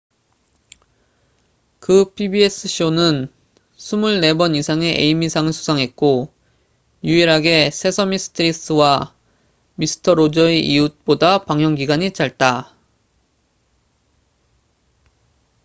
그 pbs 쇼는 24번 이상의 에미상을 수상했고 유일하게 세서미 스트리트sesame street와 미스터 로저의 이웃mister rogers' neighborhood보다 방영 기간이 짧다